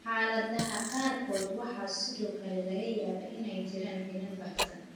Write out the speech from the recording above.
Xaaladaha qaarkood, waxaa sidoo kale laga yaabaa inay jiraan finan baahsan.